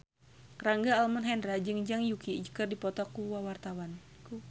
Rangga Almahendra jeung Zhang Yuqi keur dipoto ku wartawan